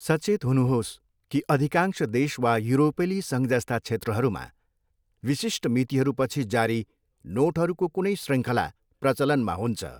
सचेत हुनुहोस् कि अधिकांश देश वा युरोपेली सङ्घ जस्ता क्षेत्रहरूमा, विशिष्ट मितिहरूपछि जारी नोटहरूको कुनै शृङ्खला प्रचलनमा हुन्छ।